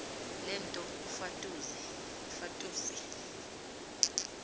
le nto kufatuse